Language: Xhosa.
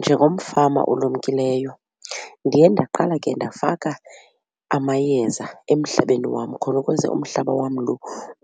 Njengomfama olumkileyo ndiye ndaqala ke ndafaka amayeza emhlabeni wam khona ukuze umhlaba wam lo